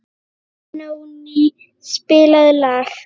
Benóný, spilaðu lag.